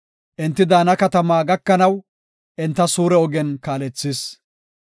Enti daana katama gakanaw, enta suure ogen kaalethis.